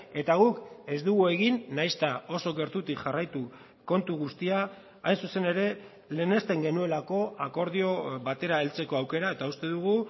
eta guk ez dugu egin nahiz eta oso gertutik jarraitu kontu guztia hain zuzen ere lehenesten genuelako akordio batera heltzeko aukera eta uste dugu